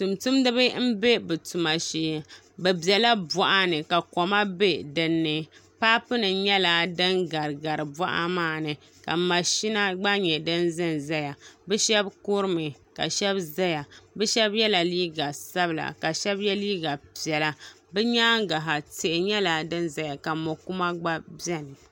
tumtumdiba m-be bɛ tuma shee bɛ bela bɔɣa ni ka koma be dinni paapunima nyɛla din n-gari gari bɔɣa maa ni ka mashina gba nyɛ din n-zen n-zeya bɛ shɛba kuri mi ka shɛba zaya bɛ shɛba yela liiga sabila ka shɛba ye liiga piɛla bɛ nyaanga ha tihi nyɛla din zaya ka mo'kuma gba beni